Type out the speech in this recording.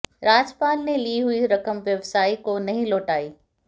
राजपाल ने ली हुई रकम व्यवसायी को नहीं लौटाई